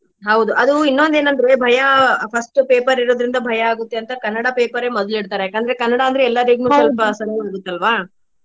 ಹೌದು ಅದು ಇನ್ನೊಂದ ಏನ್ ಅಂದ್ರೆ ಭಯಾ first paper ಇರೋದ್ರಿಂದ ಭಯಾ ಆಗುತ್ತೆ ಅಂತಾ ಕನ್ನಡ paper ಮೊದ್ಲು ಇಡ್ತಾರೆ. ಯಾಕ್ ಅಂದ್ರೆ ಕನ್ನಡ ಅಂದ್ರೆ ಎಲ್ಲರ್ಗುನು ಸ್ವಲ್ಪ ಸರಳ ಇರುತ್ತ ಅಲ್ವಾ?